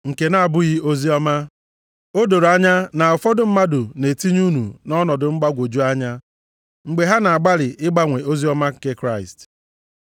nke na-abụghị oziọma. O doro anya na ụfọdụ mmadụ na-etinye unu nʼọnọdụ mgbagwoju anya, mgbe ha na-agbalị ịgbanwe oziọma nke Kraịst.